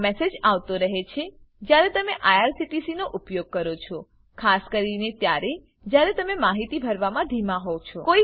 આ મેસેજ આવતો રહે છે જયારે તમે આઇઆરસીટીસી નો ઉપયોગ કરો છો ખાસ કરીને ત્યારે જયારે તમે માહિતી ભરવામાં ધીમા હોવ છો